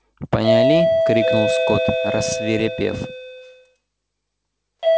поняли крикнул скотт рассвирепев